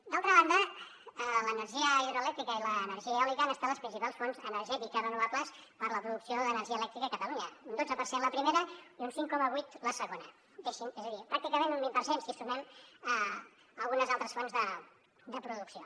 d’altra banda l’energia hidroelèctrica i l’energia eòlica han estat les principals fonts energètiques renovables per a la producció d’energia elèctrica a catalunya un dotze per cent la primera i un cinc coma vuit la segona és a dir pràcticament un vint per cent si hi sumem algunes altres fonts de producció